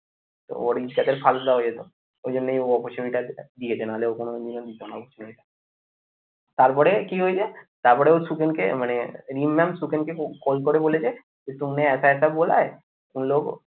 তো ওর ইজ্জতের ফালুদা হয়ে যেত ওই জন্যই ওপার ছবিটা দিয়েছে না হলে ও কোনদিনও জানা উচিত না তারপরে তারপরে কি হয়ে যায়? তারপরে ও সুখেনকে মানে রিম mam সুখেনকে call করে বলেছে যে तुमने ऐसा ऐसा बोला है उन लोगों को?